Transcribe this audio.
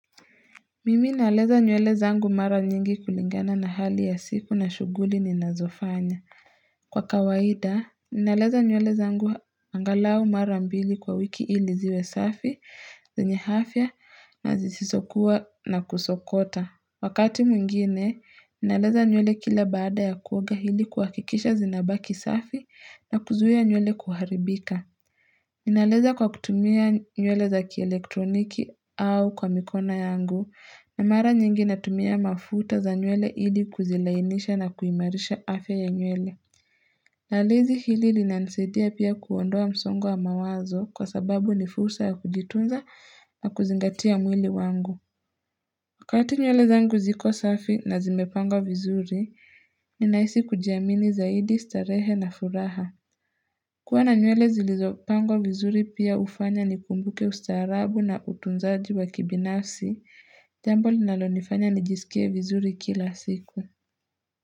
Mimi naleza nywele zangu mara nyingi kulingana na hali ya siku na shughuli ninazofanya. Kwa kawaida, naleza nywele zangu angalau mara mbili kwa wiki ili ziwe safi, zenye afia na zisisokuwa na kusokota. Wakati mwingine, naleza nyuele kila baada ya kuoga ili hakikisha zinabaki safi na kuzuia nyuele kuharibika. Naleza kwa kutumia nywele za kielektroniki au kwa mikona yangu, na mara nyingi natumia mafuta za nyuele ili kuzilainisha na kuimarisha afya ya nywele. Lalezi hili linanisaidia pia kuondoa msongo mawazo kwa sababu nifursa ya kujitunza na kuzingatia mwili wangu. Wakati nywele zangu ziko safi na zimepangwa vizuri, ninaisi kujiamini zaidi starehe na furaha. Kwa na nywele zilizopango vizuri pia hufanya nikumbuke ustaarabu na utunzaji wa kibinafsi, jambo linalo nifanya nijisikie vizuri kila siku.